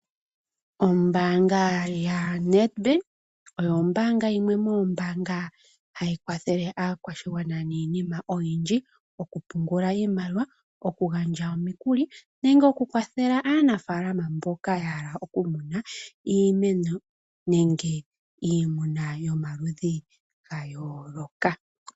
Ombaanga yaNedbank oyo ombaanga yimwe yomombaanga hayi kwathele aakwashigwana niinima oyindji, oku pungula iimaliwa, okugandja omikuli nenge oku kwathela aanafaalama mboka ya hala okumuna iimeno nenge iimuna yomaludhi ga yooloka.